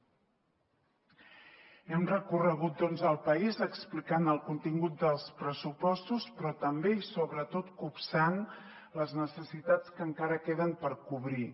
hem recorregut doncs el país explicant el contingut dels pressupostos però també i sobretot copsant les necessitats que encara queden per cobrir